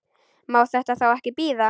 Má þetta þá ekki bíða?